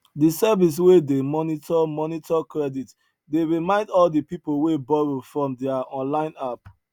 the service wey dey monitor monitor credit dey remind all the people wey borrow from their online app